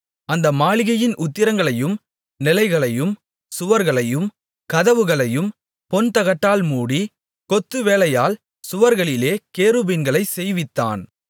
அந்த மாளிகையின் உத்திரங்களையும் நிலைகளையும் சுவர்களையும் கதவுகளையும் பொன்தகட்டால் மூடி கொத்துவேலையால் சுவர்களிலே கேருபீன்களைச் செய்வித்தான்